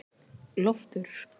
Loftur